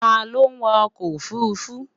Ta lo wa oko ofurufu?